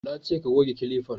Na ce ka goge kilifan!